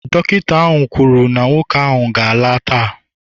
Dọkịta ahụ kwuru na nwoke ahụ ga-ala taa